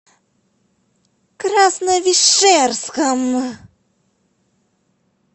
красновишерском